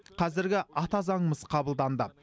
қазіргі ата заңымыз қабылданды